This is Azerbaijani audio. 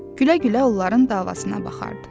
Gülə-gülə onların davasına baxardı.